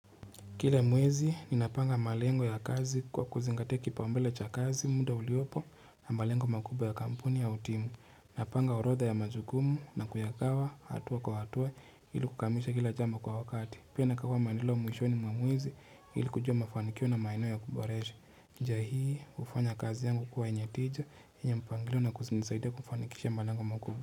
Kile mwezi ninapanga malengo ya kazi kwa kuzingatea kipaumbele cha kazi muda uliopo na malengo makubwa ya kampuni au timu. Napanga orodha ya majukumu na kuyagawa hatua kwa hatua ili kukamilisha kila jambo kwa wakati. Pia nagawa mandilo muishoni mwa mwezi ili kujua mafanikio na maeneo ya kuboresha. Nja hii hufanya kazi yangu kuwa yenye tija yenye mpangilio na kunisaidia kufanikisha malengo makubwa.